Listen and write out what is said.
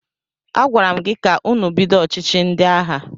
Agwara m gị ka ụnụ bido ọchịchị ndị agha!